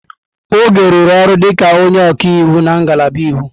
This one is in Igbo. Oge rụrụ ọrụ dịka onye ọka iwu na ngalaba iwu.